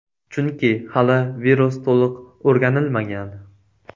Chunki hali virus to‘liq o‘rganilmagan.